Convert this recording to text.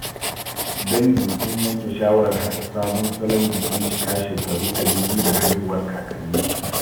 Dangi sun yanke shawarar haɗa sabon salon bikin cika shekaru 200 da haihuwar kakansu.